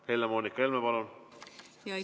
Helle-Moonika Helme, palun!